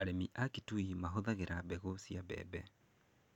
Arĩmi a Kitui mahũthagĩra mbegũ cia mbembe.